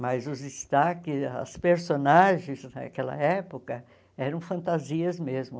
Mas os destaques, as personagens daquela época eram fantasias mesmo.